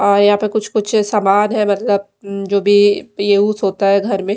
और यहां पे कुछ कुछ समान है मतलब जो भी पे यूज होता है घर में--